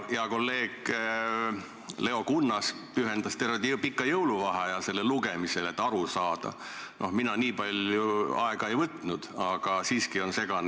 Hea kolleeg Leo Kunnas pühendas terve pika jõuluvaheaja selle lugemisele, et aru saada, mina nii palju aega ei võtnud ja asi on segane.